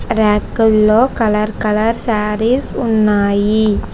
ర్యకు ల్లో colour colour saris ఉన్నాయి.